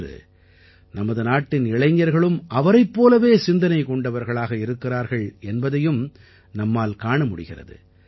இன்று நமது நாட்டின் இளைஞர்களும் அவரைப் போலவே சிந்தனை கொண்டவர்களாக இருக்கிறார்கள் என்பதையும் நம்மால் காண முடிகிறது